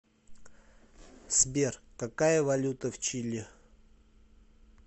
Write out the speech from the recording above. сбер какая валюта в чили